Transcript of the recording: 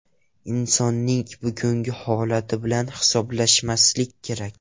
Insonning bugungi holati bilan hisoblashmaslik kerak.